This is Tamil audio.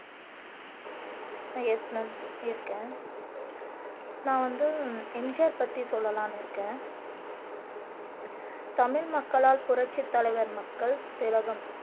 அஹ் யெஸ் மேம் இருக்கேன் நான் வந்து எம் ஜி ஆர் பத்தி சொல்லலாம்னு இருக்கேன் தமிழ் மக்களால் புரட்சித் தலைவர் மக்கள் திலகம்